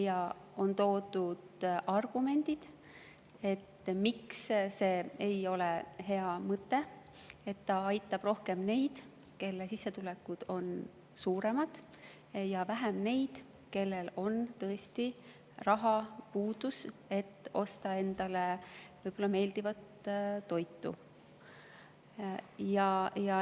Ja on toodud veel argumendid, miks see ei ole hea mõte: see aitaks rohkem neid, kelle sissetulekud on suuremad, ja vähem neid, kellel on tõesti raha puudu, et osta endale meeldivat toitu.